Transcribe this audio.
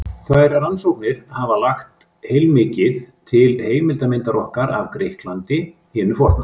Þær rannsóknir hafa lagt heilmikið til heildarmyndar okkar af Grikklandi hinu forna.